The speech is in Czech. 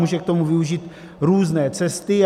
Může k tomu využít různé cesty.